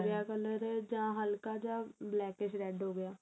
color ਜਾਂ ਹਲਕਾ ਜਾ blackish red ਹੋ ਗਿਆ